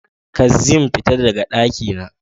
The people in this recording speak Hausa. Kaszim, fita daga dakina